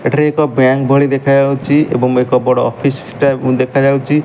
ଏଠାରେ ଏକ ବ୍ୟାଙ୍କ୍ ଭଳି ଦେଖାଯାଉଚି ଏବଂ ଏକ ବଡ଼ ଅଫିସ୍ ଟା ଦେଖାଯାଉଚି ।